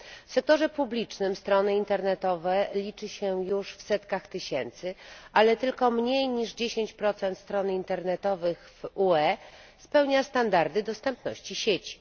W sektorze publicznym strony internetowe liczy się już w setkach tysięcy, ale tylko mniej niż 10 stron internetowych w UE spełnia standardy dostępności sieci.